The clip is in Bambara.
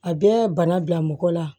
A bɛ bana bila mɔgɔ la